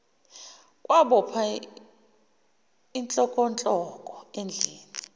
kwabopha ihlokohloko endlinini